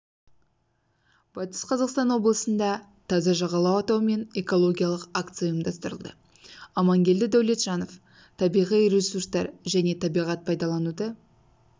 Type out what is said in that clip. батыс қазақстан облысында таза жағалау атауымен экологиялық акция ұйымдастырылды амангелді дәулетжанов табиғи ресурстар және табиғат пайдалануды